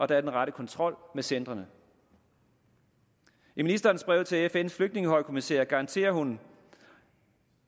der er den rette kontrol med centrene i ministerens brev til fns flygtningehøjkommissær garanterer hun